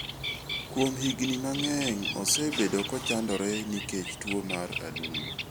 Kuom higini mang'eny, osebedo kochandore nikech tuwo mar adundo.